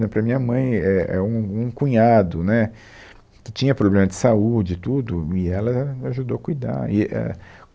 Né, Para minha mãe, é é um um cunhado, né, que tinha problema de saúde e tudo, e ela ajudou a cuidar. E é